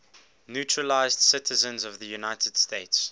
naturalized citizens of the united states